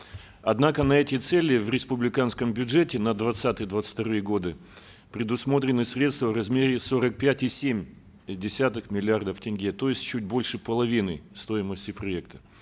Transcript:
однако на эти цели в республиканском бюджете на двадцатый двадцать вторые годы предусмотрены средства в размере сорок пять и семь десятых миллиардов тенге то есть чуть больше половины стоимости проекта